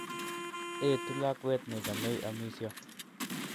Etu lakwet ne chamei amisyo.